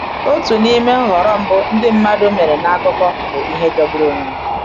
Otu n’ime nhọrọ mbụ ndị mmadụ mere n’akụkọ bụ ihe jọgburu onwe ya.